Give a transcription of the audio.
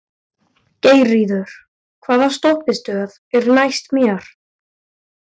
Geirríður, hvaða stoppistöð er næst mér?